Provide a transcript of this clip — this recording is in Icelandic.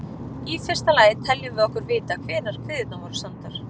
Í fyrsta lagi teljum við okkur vita hvenær kviðurnar voru samdar.